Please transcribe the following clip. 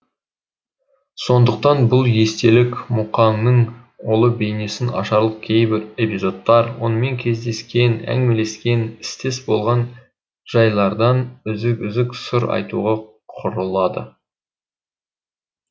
сондықтан бұл естелік мұқаңның ұлы бейнесін ашарлық кейбір эпизодтардан онымен кездескен әңгімелескен істес болған жайлардан үзік үзік сыр айтуға құрылады